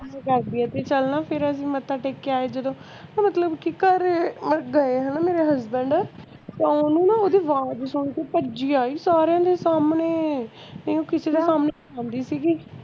ਤੈਂਨੂੰ ਦਸਦੀ ਆ ਗੱਲ ਤੇ ਕੱਲ ਨਾ ਫੇਰ ਅਸੀਂ ਮੱਥਾ ਟੇਕ ਕੇ ਆਏ ਜਦੋਂ ਤੇ ਮਤਲਬ ਕਿ ਘਰ ਵੜ ਦਾ ਐ ਹੈਨਾ ਮੇਰਾ husband ਤੇ ਓਹਨੂੰ ਨਾ ਓਹਦੀ ਆਵਾਜ਼ ਸੁਨ ਕੇ ਭਜੀ ਆਈ ਸਾਰਿਆਂ ਦੇ ਸਾਹਮਣੇ ਇਹ ਕੀਤੇ ਨਾ